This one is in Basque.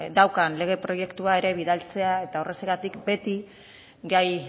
daukan lege proiektua ere bidaltzea eta horregatik beti gai